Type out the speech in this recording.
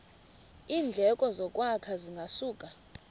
iindleko zokwakha zingasuka